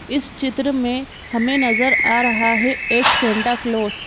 इस चित्र में हमें नजर आ रहा है एक सेंटा क्लॉज --